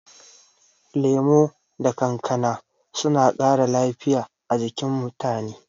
Lemu da kankana suna ƙara lafiya a jikin mutane.